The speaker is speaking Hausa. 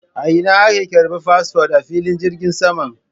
A ina ake ƙarban fasfot a filin jirgin saman?